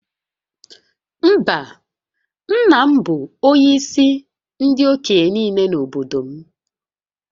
Mba, nna m bụ onyeisi ndị okenye niile n’obodo m